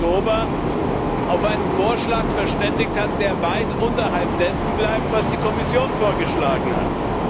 6. Oktober auf einen Vorschlag verständigt hat, der weit unterhalb dessen bleibt, was die Kommission vorgeschlagen hat.